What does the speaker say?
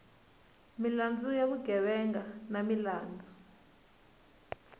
milandzu ya vugevenga ni milandzu